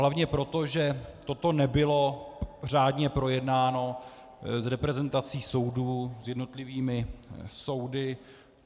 Hlavně proto, že toto nebylo řádně projednáno s reprezentací soudů, s jednotlivými soudy.